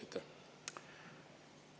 Aitäh!